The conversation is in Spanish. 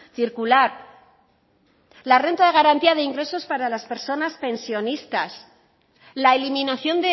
circular la renta de garantía de ingresos para las personas pensionistas la eliminación